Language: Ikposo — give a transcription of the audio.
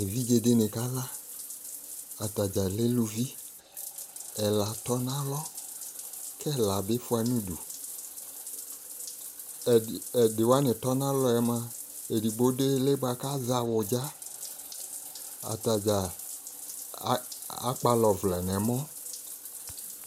Evidze de ne ka la Ata dza lɛ iluvi Ɛla tɔ no alɔ ko ɛla be fua no udu Ɛde wane tɔ no alɔɛ moa edigbo do ile boako azɛ awudza Ata dza a akpala ɔvlɛ no ɛmɔ